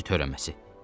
Zənci törəməsi.